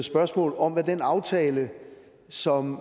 spørgsmål om hvad den aftale som